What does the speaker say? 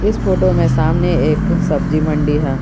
इस फोटो में सामने एक सब्जी मंडी है।